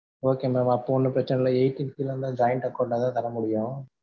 okay mam அப்ப ஒன்னும் பிரச்சனை இல்ல eighteen கீழன்னா joint account தான் தர முடியும்.